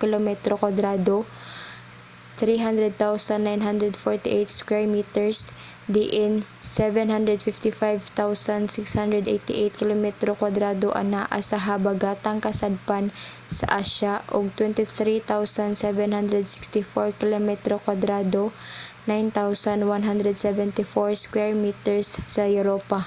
kilometro kwadrado 300,948 sq mi diin 755,688 kilometro kwadrado anaa sa habagatang kasadpan sa asya ug 23,764 kilometro kwadrado 9,174 sq mi sa europa